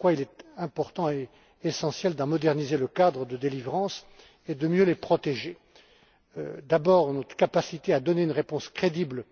Voilà pourquoi il est important et essentiel d'en moderniser le cadre de délivrance et de mieux les protéger. D'abord, notre capacité à donner une réponse crédible